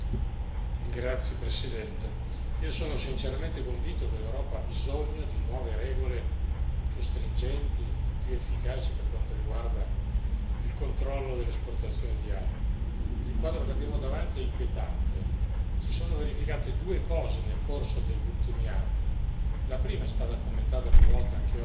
Signor Presidente, onorevoli colleghi, io sono sinceramente convinto che l'Europa abbia bisogno di nuove regole più stringenti e più efficaci per quanto riguarda il controllo dell'esportazione di armi. Il quadro che abbiamo davanti è inquietante. Si sono verificate due cose nel corso degli ultimi anni la prima, commentata più volte,